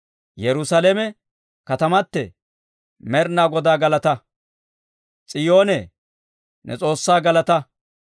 Yerusaalame katamatee, Med'inaa Godaa galataa! S'iyoonee, ne S'oossaa galataa!